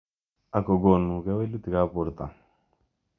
Ako konu kewelutik ab borto.